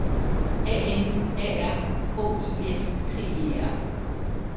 A N A R K I S T E R